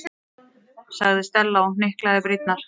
sagði Stella og hnyklaði brýnnar.